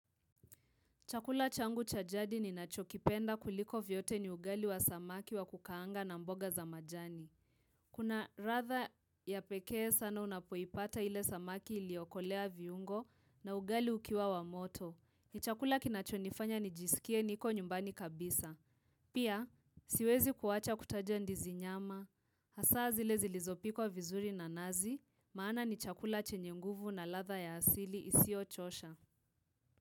Chakula changu cha jadi ninachokipenda kuliko vyote ni ugali wa samaki wa kukaanga na mboga za majani. Kuna latha ya pekee sana unapoipata ile samaki iliokolea viungo na ugali ukiwa wa moto. Ni chakula kinachonifanya nijisikie niko nyumbani kabisa. Pia, siwezi kuwacha kutaja ndizi nyama. Hasa zile zilizopikwa vizuri na nazi, maana ni chakula chenye nguvu na ladha ya hasili isiyochosha.